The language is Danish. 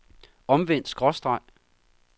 omvendt skråstreg